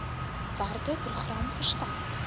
werke program versterk